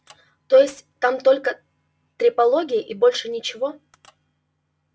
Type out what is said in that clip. то есть там только трепология и больше ничего